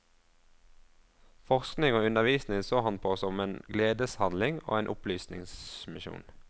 Forskning og undervisning så han på som en gledeshandling og en opplysningsmisjon.